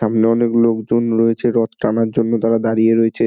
সামনে অনেক লোক জন রয়েছে রথ টানার জন্য তারা দাঁড়িয়ে রয়েছে।